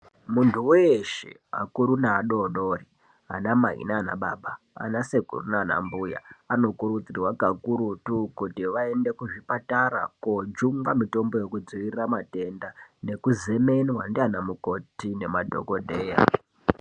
Munthu weshe akuru neadodori ana mai nanababa anasekuru nanambuya anokurudzirwa kakurutu kuti vaende kuzvipatara kojungwa mutombo uekudziirira matenda nekuzemenwa nanamukoti nezvibhedhleya.